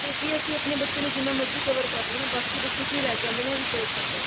ਕਿਉਂਕਿ ਅਸੀਂ ਆਪਣੇ ਬੱਚਿਆ ਨੂੰ ਜਿੰਨਾ ਮਰਜੀ cover ਕਰ ਲੀਏ ਨਾ ਬਾਕੀ ਬੱਚੇ ਕਿ ਲੈਕੇ ਆਂਦੇ ਨੇ ਇਹ ਵੀ ਫਰਕ ਪੈਂਦਾ